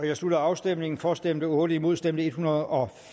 jeg slutter afstemningen for stemte otte imod stemte en hundrede og